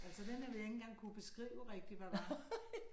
Altså den har vi ikke engang kunne beskrive rigtigt hvad var